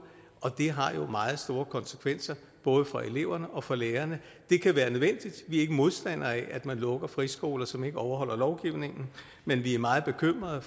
og det har jo meget store konsekvenser både for eleverne og for lærerne det kan være nødvendigt vi er ikke modstandere af at man lukker friskoler som ikke overholder lovgivningen men vi er meget bekymrede